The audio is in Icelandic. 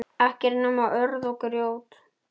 Ekkert nema urð og grjót.